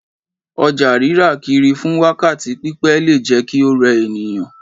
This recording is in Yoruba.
Ọjà rírà kiri fún wákàtí pípẹ́ le jẹ́ kí ó rẹ ènìyàn.